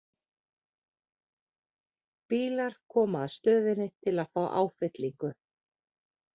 Bílar koma að stöðinni til að fá áfyllingu.